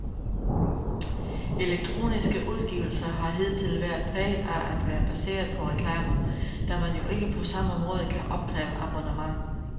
Elektroniske udgivelser har hidtil været præget af at være baseret på reklamer, da man jo ikke på samme måde kan opkræve abonnement.